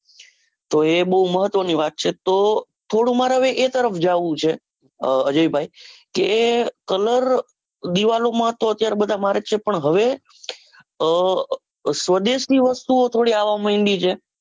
તો એ બૌ મહત્વ ની વાત છે. તો થોડું મારે એ તરફ જાઉં છે અજય ભાઈ કે colour દીવાલોમાં તો અત્યારે બધા મારે જ છે. પણ હવે આહ સ્વદેશ ની વસ્તુઓ થોડી આવવા માંડી છે.